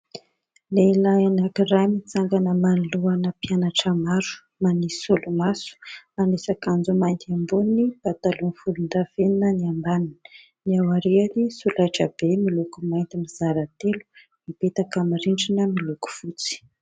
Lehilahy anankiray mitsangana manoloana mpianatra maro manisy solomaso, manisy akanjo mainty ambony, pataloha volondavenona ny ambany, eo ariany solaitra be miloko mainty mizara telo mipetaka aminy rindrina miloko fotsy.